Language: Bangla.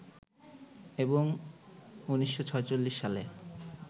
এবং ১৯৪৬ সালে